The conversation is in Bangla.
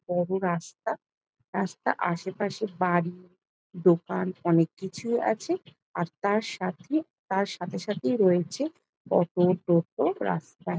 বড় রাস্তা রাস্তার আশেপাশে বাড়ি দোকান অনেক কিছুই আছে আর তার সাথে তার সাথেসাথেই রয়েছে অটো টোটো রাস্তায়।